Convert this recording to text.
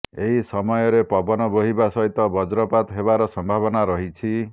ଏହି ସମୟରେ ପବନ ବୋହିବା ସହିତ ବଜ୍ରପାତ ହେବାର ସମ୍ଭାବନା ରହିଛି